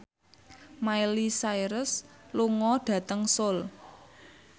Miley Cyrus lunga dhateng Seoul